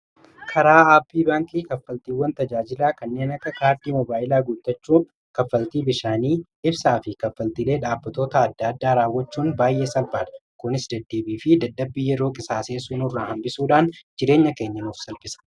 Karaa aappii baankii kaffaltiiwwan tajaajilaa kanneen akka kaardii mobaayilaa guutachuu, kaffaltii bishaanii, ibsaa fi kaffaltilee dhaabbattoota adda addaa raawwachuun baay'ee salphaadha. Kunis deddeebii fi dadhabbii yeroo qisaaseessuu nu irraa hambisuudhaan jireenya keenya nuuf salphisa.